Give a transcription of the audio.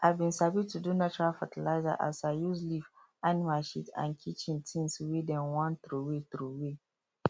i bin sabi to do natural fertilizer as i use leaf animal shit and kitchen things wey dem wan throway throway